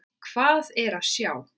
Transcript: Hvað er að sjá